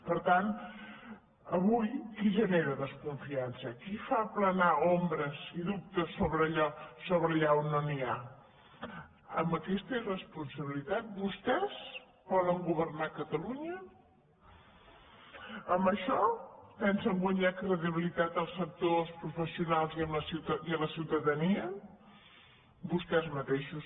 per tant avui qui genera desconfiança qui fa planar ombres i dubtes allà on no n’hi ha amb aquesta irresponsabilitat vostès volen go·vernar catalunya amb això pensen guanyar credibilitat als sectors professionals i a la ciutadania vostès matei·xos